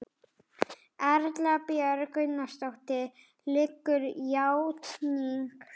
Erla Björg Gunnarsdóttir: Liggur játning fyrir?